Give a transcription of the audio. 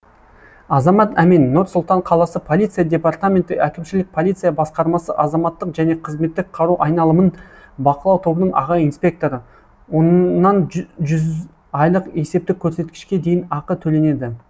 азамат әмен нұр сұлтан қаласы полиция департаменті әкімшілік полиция басқармасы азаматтық және қызметтік қару айналымын бақылау тобының аға инспекторы оннан жүз айлық есептік көрсеткішке дейін ақы төленеді